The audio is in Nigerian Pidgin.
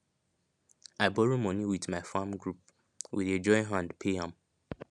i borrow money with my farm group we dey join hand pay am